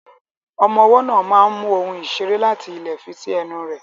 Ọmọ ọwọ́ náà máa mu ohun ìṣeré láti ilẹ̀ fi sí ẹnu rẹ̀.